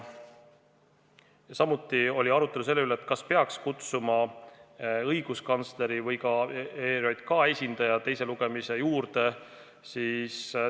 Samuti oli arutelu selle üle, kas peaks kutsuma õiguskantsleri ja ERJK esindaja ka teise lugemise ettevalmistamise juurde.